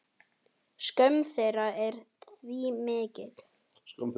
Skömm þeirra er því mikil.